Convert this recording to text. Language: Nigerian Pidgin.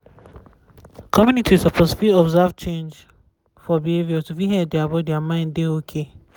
communities suppose fit observe change for behavior to fit help dia body n mind dey okay